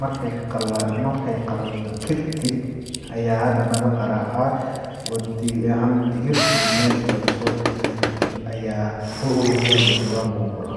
,markeey qalal..qalato kadib ayaa hadana la qaracaa ,oo digi..digirtii meesha lagaso bixiyaa kadib ayaa la aruuriyaa oo jawaan lagu guraa.